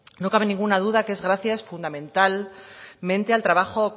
no cabe ninguna duda que es gracias fundamentalmente al trabajo